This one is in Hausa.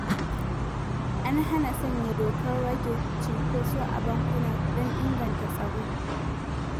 An hana sanya dokar rage cunkoso a bankuna, don inganta tsaro.